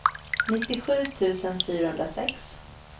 nittiosju tusen fyrahundrasex